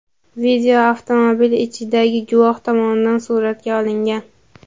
Video avtomobil ichidagi guvoh tomonidan suratga olingan.